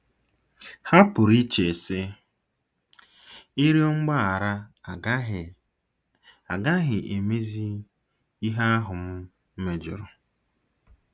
Ha pụrụ iche, sị, 'Ịrịọ mgbaghara agaghị agaghị emezi ihe ahụ m mejọrọ. '